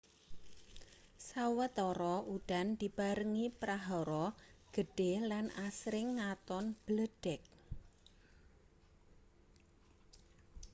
sawetara udan dibarengi prahara gedhe lan asring ngaton bledhek